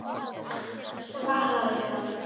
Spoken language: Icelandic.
Svaraðu maður.